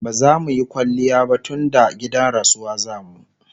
bazamuyi kwaliya ba tunda gidan rasuwa zamu